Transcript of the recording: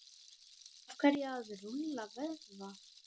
af hverju að rúlla vöðva